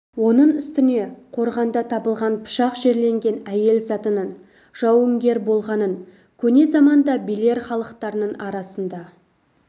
оның үстіне қорғанда табылған пышақ жерленген әйел затының жауынгер болғанын көне заманда белер халықтарының арасында